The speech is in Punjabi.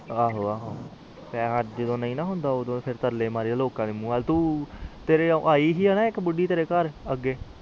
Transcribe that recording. ਆਹੋ ਆਹੋ ਪੈਸੇ ਜਦੋ ਨਹੀਂ ਹੁੰਦਾ ਤਾ ਤਰਲੇ ਮਾਰੀ ਜਾਓ ਲੋਕ ਦੇ ਮੂੰਹ ਵਾਲ ਤੇਰੇ ਵਗੇ ਔਇ ਸੀ ਨਾ ਇਕਬੂਦੀ ਤੇਰੇ ਘਰ ਅਗੇ